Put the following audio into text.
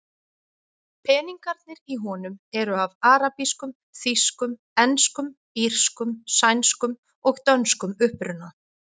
Peningarnir í honum eru af arabískum, þýskum, enskum, írskum, sænskum og dönskum uppruna.